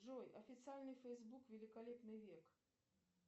джой официальный фэйсбук великолепный век